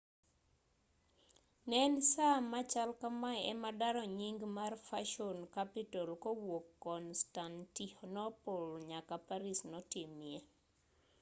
ne en saa machal kamae ema daro nying mar fashion capital kowuok constantinople nyaka paris notimie